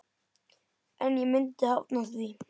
En ég myndi hafna því.